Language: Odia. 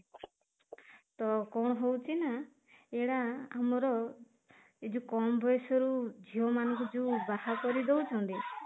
ତ କଣ ହଉଚି ନା ଏଇଟା ଆମର ଏଇ ଯୋଉ କମ ବୟସ ରୁ ଝିଅ ମାନଙ୍କୁ ଯୋଉ ବାହା କରିଦଉଛନ୍ତି